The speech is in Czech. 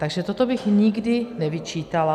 Takže toto bych nikdy nevyčítala.